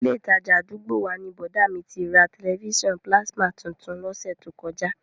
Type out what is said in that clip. Ilé ìtajà àdúgbò wa ni bọ̀dá à mi ti ra tẹ̀lifísàn pílásímà tuntun lọ́sẹ̀ tó kọjá